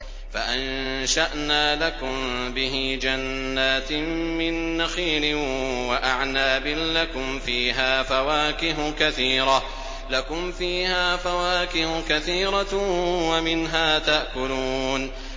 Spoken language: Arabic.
فَأَنشَأْنَا لَكُم بِهِ جَنَّاتٍ مِّن نَّخِيلٍ وَأَعْنَابٍ لَّكُمْ فِيهَا فَوَاكِهُ كَثِيرَةٌ وَمِنْهَا تَأْكُلُونَ